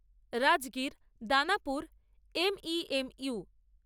Rajgir Danapur M E M you